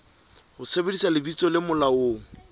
ho sebedisa lebitso le molaong